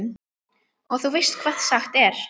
Og þú veist hvað sagt er?